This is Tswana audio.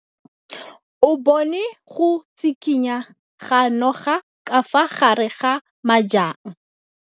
O bone go tshikinya ga noga ka fa gare ga majang.